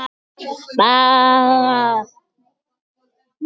En svo var ekki gert.